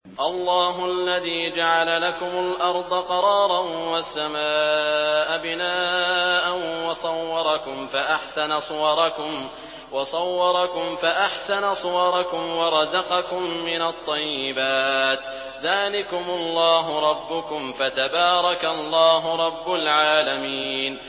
اللَّهُ الَّذِي جَعَلَ لَكُمُ الْأَرْضَ قَرَارًا وَالسَّمَاءَ بِنَاءً وَصَوَّرَكُمْ فَأَحْسَنَ صُوَرَكُمْ وَرَزَقَكُم مِّنَ الطَّيِّبَاتِ ۚ ذَٰلِكُمُ اللَّهُ رَبُّكُمْ ۖ فَتَبَارَكَ اللَّهُ رَبُّ الْعَالَمِينَ